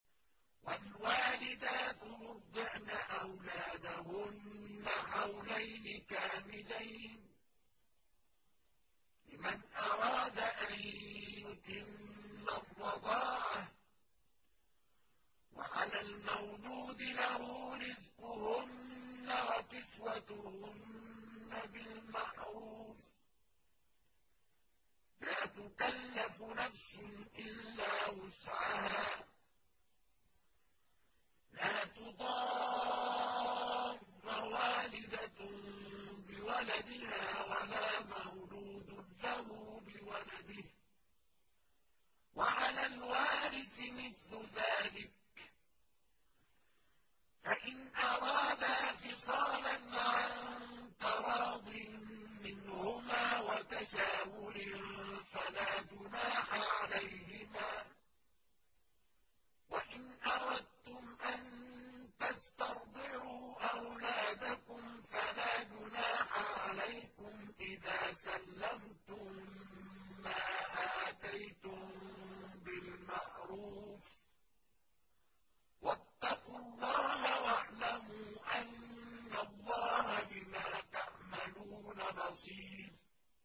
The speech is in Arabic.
۞ وَالْوَالِدَاتُ يُرْضِعْنَ أَوْلَادَهُنَّ حَوْلَيْنِ كَامِلَيْنِ ۖ لِمَنْ أَرَادَ أَن يُتِمَّ الرَّضَاعَةَ ۚ وَعَلَى الْمَوْلُودِ لَهُ رِزْقُهُنَّ وَكِسْوَتُهُنَّ بِالْمَعْرُوفِ ۚ لَا تُكَلَّفُ نَفْسٌ إِلَّا وُسْعَهَا ۚ لَا تُضَارَّ وَالِدَةٌ بِوَلَدِهَا وَلَا مَوْلُودٌ لَّهُ بِوَلَدِهِ ۚ وَعَلَى الْوَارِثِ مِثْلُ ذَٰلِكَ ۗ فَإِنْ أَرَادَا فِصَالًا عَن تَرَاضٍ مِّنْهُمَا وَتَشَاوُرٍ فَلَا جُنَاحَ عَلَيْهِمَا ۗ وَإِنْ أَرَدتُّمْ أَن تَسْتَرْضِعُوا أَوْلَادَكُمْ فَلَا جُنَاحَ عَلَيْكُمْ إِذَا سَلَّمْتُم مَّا آتَيْتُم بِالْمَعْرُوفِ ۗ وَاتَّقُوا اللَّهَ وَاعْلَمُوا أَنَّ اللَّهَ بِمَا تَعْمَلُونَ بَصِيرٌ